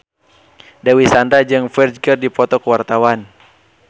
Dewi Sandra jeung Ferdge keur dipoto ku wartawan